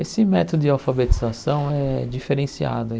Esse método de alfabetização é diferenciado.